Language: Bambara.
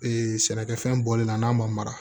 sɛnɛkɛfɛn bɔlen na n'a ma mara